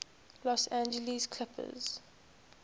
los angeles clippers